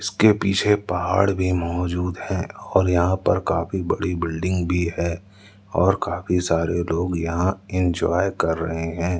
उसके पीछे पहाड़ भी मौजूद है और यहां पर काफी बड़ी बिल्डिंग भी है और काफी सारे लोग यहां इंजॉय कर रहे हैं।